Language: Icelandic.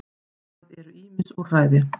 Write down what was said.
Það eru ýmis úrræði.